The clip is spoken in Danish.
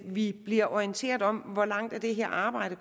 vi bliver orienteret om hvor langt det her arbejde